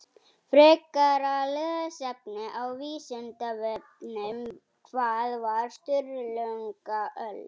Frekara lesefni á Vísindavefnum Hvað var Sturlungaöld?